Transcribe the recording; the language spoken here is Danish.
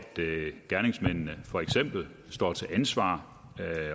gerningsmændene for eksempel står til ansvar